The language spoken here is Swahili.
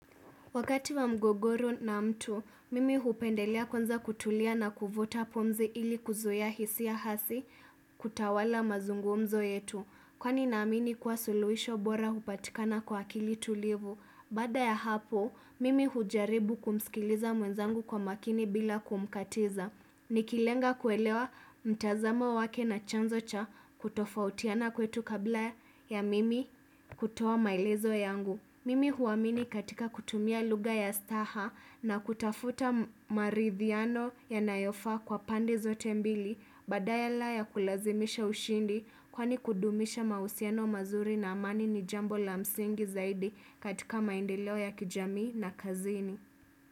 Wakati wa mgogoro na mtu, mimi hupendelea kwanza kutulia na kuvuta pumzi ili kuzuia hisia hasi kutawala mazungumzo yetu. Kwani naamini kuwa suluhisho bora hupatikana kwa akili tulivu. Baada ya hapo, mimi hujaribu kumsikiliza mwenzangu kwa maakini bila kumkatiza. Nikilenga kuelewa mtazamo wake na chanzo cha kutofautiana kwetu kabla ya mimi kutoa maelezo yangu mimi huamini katika kutumia lugha ya staha na kutafuta marithiano yanayofaa kwa pande zote mbili badala ya kulazimisha ushindi kwani kudumisha mausiano mazuri na amani ni jambo la msingi zaidi katika maendeleo ya kijamii na kazini.